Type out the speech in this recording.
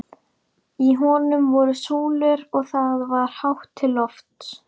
Í honum voru súlur og það var hátt til lofts.